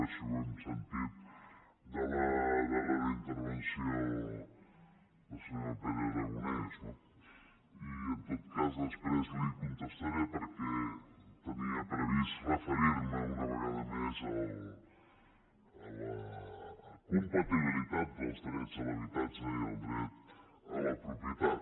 així ho hem sentit en la darrera intervenció del senyor pere aragonès no i en tot cas després li contestaré perquè tenia previst referir me una vegada més a la compatibilitat dels drets a l’habitatge i el dret a la propietat